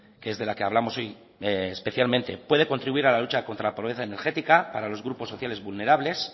que es de la que hablamos hoy especialmente puede contribuir a la lucha contra la pobreza energética para los grupos sociales vulnerables